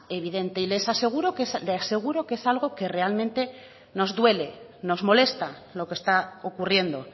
evidente y le aseguro que es algo que realmente nos duele nos molesta lo que está ocurriendo